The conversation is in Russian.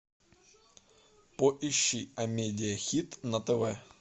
поищи амедия хит на тв